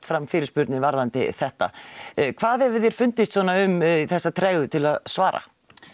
fram fyrirspurnir varðandi þetta hvað hefur þér fundist svona um þessa tregðu til að svara